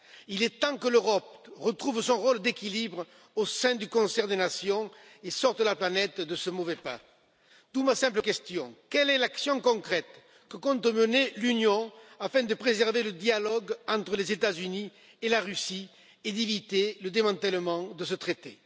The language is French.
Il est temps que l'Europe retrouve son rôle d'équilibre au sein du concert des nations et sorte la planète de ce mauvais pas. D'où ma simple question quelle est l'action concrète que compte mener l'Union afin de préserver le dialogue entre les États Unis et la Russie et d'éviter le démantèlement de ce traité?